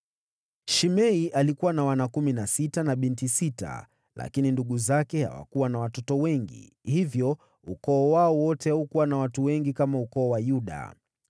Shimei alikuwa na wana kumi na sita, na binti sita, lakini ndugu zake hawakuwa na watoto wengi, hivyo ukoo wao wote haukuwa na watu wengi kama ukoo wa Yuda.